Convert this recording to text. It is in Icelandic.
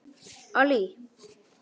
Allý